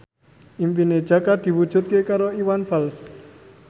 impine Jaka diwujudke karo Iwan Fals